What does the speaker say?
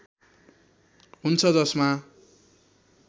हुन्छ जसमा